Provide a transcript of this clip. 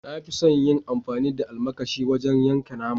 Na fi son yin amfani da almakashi wajen yankan nama.